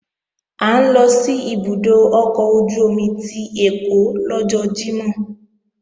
À ń lọ sí ibùdó ọkọ̀ ojú-omi ti Ẹ̀kọ́ lọ́jọ́ Jímọ̀